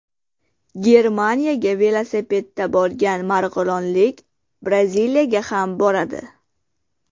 Germaniyaga velosipedda borgan marg‘ilonlik Braziliyaga ham boradi.